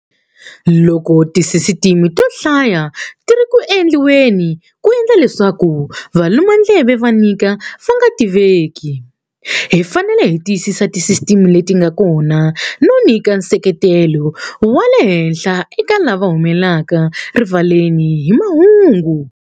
Loko tisisitime to hlaya ti ri ku endliweni ku endla leswaku valumandleve va vika va nga tiveki, hi fanele hi tiyisa tisisitime leti nga kona no nyika nseketelo wa lehenhla eka lava humelaka rivaleni ni mahungu.